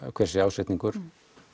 hver sé ásetningur